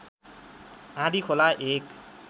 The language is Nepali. आँधीखोला एक